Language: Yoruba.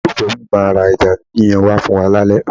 Olólùfẹ́ mi máa ra ẹja yíyan wá fún wa lálẹ́.